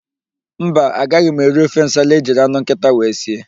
Mba, agaghị m eri ofe nsala ejiri anụ nkịta wee sie.